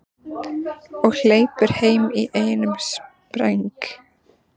Og hleypur heim í einum spreng.